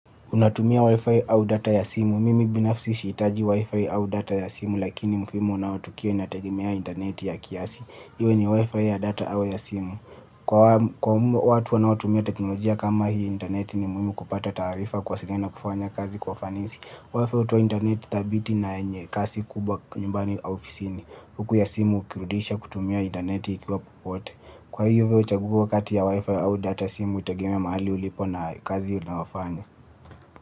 Unatumia wi-fi au data ya simu. Mimi binafsi sihitaji wi-fi au data ya simu lakini mfimu unaotukia inategemea intaneti ya kiasi. Iwe ni wi-fi ya data au ya simu. Kwa watu wanaotumia teknolojia kama hii intaneti ni muhimu kupata taarifa kwa simu na kufanya kazi kwa fanisi. Wifi hutoa intaneti dhabiti na yenye kasi kubwa nyumbani au ofisini. Huku ya simu ukirudisha kutumia intaneti ikiwa popote. Kwa hivyo chaguo kati ya wi-fi au data simu hutegemea mahali ulipo na kazi unayofanya.